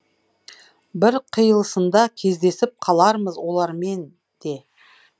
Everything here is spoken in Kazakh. бір қиылысында кездесіп қалармыз олармен де